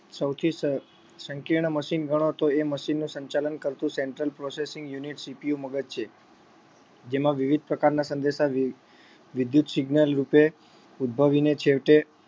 સૌથી સ સંકીર્ણ મશીન ગણો તો એ મશીનનું સંચાલન કરતુ central processing unitCPU મગજ છે જેમાં વિવિધ પ્રકારના સંદેશા વિ વિદ્યુત signal રૂપે ઉદ્ભવીને છેવટે